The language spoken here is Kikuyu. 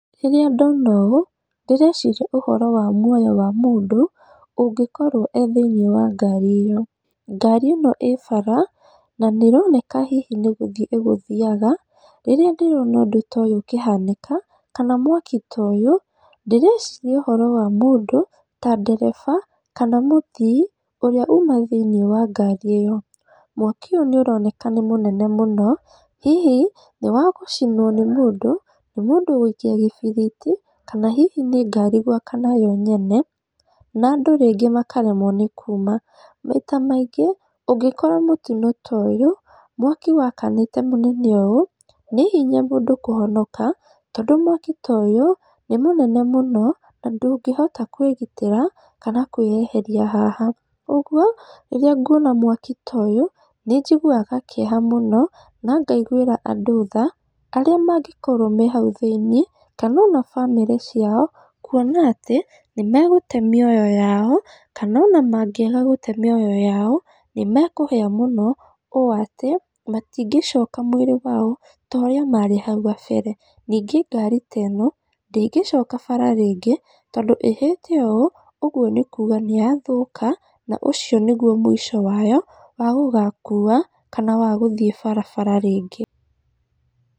Rĩrĩa ndona ũũ, ndĩreciria ũhoro wa muoyo wa mũndũ, ũngĩkorwo e thĩinĩ wa ngari ĩyo, ngari ĩno ĩbara, na nĩ ĩroneka hihi nĩ gũthiĩ ĩ gũthiyaga, rĩrĩa ndĩrona ũndũ ta ũyũ ũkĩhanĩka, kana mwaki toyũ, ndĩreciria ũhoro wa mũndũ ta ndereba kana mũthii ũrĩa uma thĩinĩ wa ngari ĩyo, mwaki ũyũ nĩ ũroneka nĩ mũnene mũno hihi nĩ wagũcinwo nĩ mũndũ, nĩ mũndũ gwĩikia gĩbiriti, kana hihi nĩ ngari gwakana yo nyene, nandũ rĩngĩ makaremwo nĩ kuuma, maita maingĩ ũngĩkora mũtino toyũ, mwaki wakanĩte mũnene ũyũ, nĩ hinya mũndũ kũhonoka, tondũ mwaki toyũ nĩ mũnene mũno na ndũngĩhota kwĩgitĩra, kana kwĩyeheria haha, ũguo rĩrĩa nguona mwaki toyũ nĩ njiguwaga kĩeha mũno, na ngaigwĩra andũ tha, arĩa mangĩkorwo hau thĩinĩ, kana ona bamĩrĩ ciao, kuona atĩ nĩ megũte mĩoyo yao, kana ona mangĩaga gũte mĩoyo yao, nĩ mekũhia mũno ũũ atĩ matingĩcoka mwĩrĩ wao, torĩa marĩ hau gabere, ningĩ ngari teno ndĩngĩcoka bara rĩngĩ, tondũ ĩhĩte ũũ ũguo nĩkuga nĩyathũka na ũcio nĩguo mũico wayo, wa gũgakuwa kana wagũgathiĩ barabara rĩngĩ.